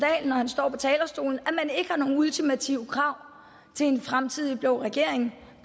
når han står på talerstolen at man ikke har nogen ultimative krav til en fremtidig blå regering